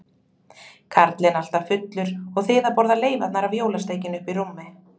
Karlinn alltaf fullur og þið að borða leifarnar af jólasteikinni uppi í rúmi?